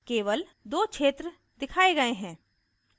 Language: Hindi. केवल दो क्षेत्र दिखाए गए हैं